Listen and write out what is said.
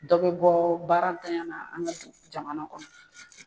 Dɔ be bɔ baarantanya na an ka jamana kɔnɔ.